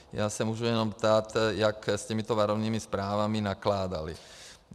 Já se můžu jenom ptát, jak s těmito varovnými zprávami nakládaly.